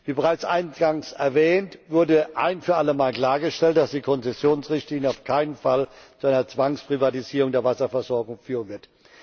Wie bereits eingangs erwähnt, wurde ein für alle Mal klargestellt, dass die Konzessionsrichtlinie auf keinen Fall zu einer Zwangsprivatisierung der Wasserversorgung führen wird.